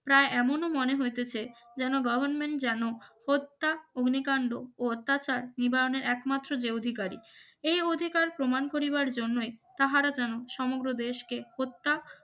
প্রায় এমনও মনে হইতেছে যেন গভারমেন্ট যেন হত্যা অগ্নিকাণ্ড ও অত্যাচার নিবারণের একমাত্র যে অধিকারী এই অধিকার প্রমাণ করিবার জন্যই তাহারা যেন সমগ্র দেশকে হত্যা